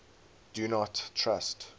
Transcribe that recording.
do not trust